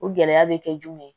O gɛlɛya bɛ kɛ jumɛn ye